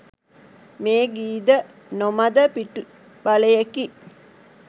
මේ ගීද නොමද පිටුබලයෙකි.